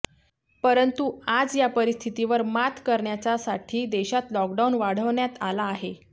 परंतु आज या परिस्थितीवर मात करण्याचा साठी देशात लॉकडाउन वाढवण्यात आला आहे